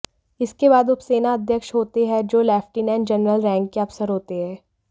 इसके बाद उपसेना अध्यक्ष होते हैं जो लेफ्टिनेंट जनरल रैंक के अफसर होते हैं